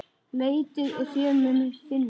Leitið og þér munuð finna!